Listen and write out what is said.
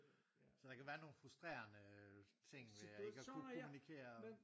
Så der kan være nogle frustrerende øh ting ved ikke at kunne kommunikere